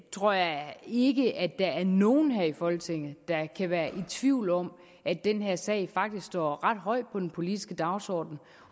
tror jeg ikke at der er nogen her i folketinget der kan være i tvivl om at den her sag faktisk står ret højt på den politiske dagsorden